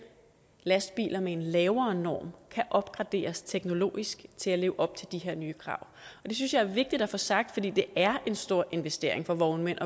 lastbiler med en lavere norm kan opgraderes teknologisk til at leve op til de her nye krav det synes jeg er vigtigt at få sagt for det er en stor investering for vognmænd